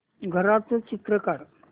घराचं चित्र काढ